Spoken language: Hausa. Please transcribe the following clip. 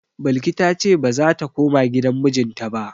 Balki ta ce ba za ta koma gidan mijinta ba.